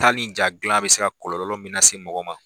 Ta ni ja dilan bɛ se kɔlɔlɔ min se mɔgɔ ma.